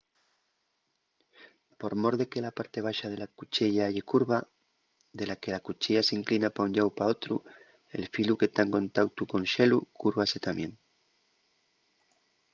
por mor de que la parte baxa de la cuchiella ye curva de la que la cuchiella s’inclina pa un llau o pa otru el filu que ta en contautu col xelu cúrvase tamién